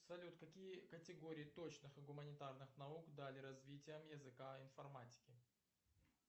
салют какие категории точных и гуманитарных наук дали развитие языка информатики